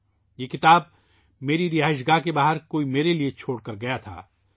کسی نے یہ کتاب میرے لیے میری رہائش کے باہر کوئی میرے لئے چھوڑ گیاتھا